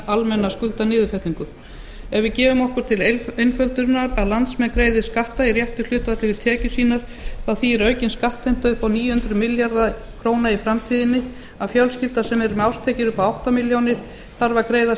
ef við gefum okkur til einföldunar að landsmenn greiði skatta í réttu hlutfalli við tekjur sínar þá þýðir aukin skattheimta upp á níu hundruð milljarða króna í framtíðinni að fjölskylda sem er með árstekjur upp á átta milljónir þarf að greiða